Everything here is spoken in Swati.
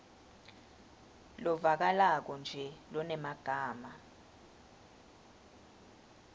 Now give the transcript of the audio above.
lovakalako nje lonemagama